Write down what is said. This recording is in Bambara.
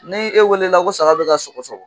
N'e weele la ko saga bɛ ka sɔgɔsɔgɔ